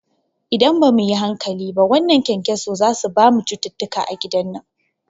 Idan bamu yi hankali ba wannan kyankyaso zasu bamu cututtuka a gidan nan